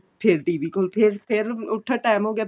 ਫਿਰ TV ਕੋਲ ਫੇਰ ਫੇਰ ਉੱਠੋ ਟੇਮ ਹੋ ਗਿਆ